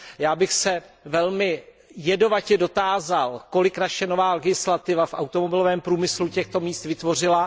Já bych se velmi jedovatě dotázal, kolik naše nová legislativa v automobilovém průmyslu těchto míst vytvořila.